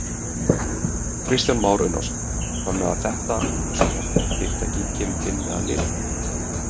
Kristján Már Unnarsson: Þannig að þetta, svona fyrirtæki kemur til með að lifa?